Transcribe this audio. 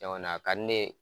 Jama na a ka di ne ye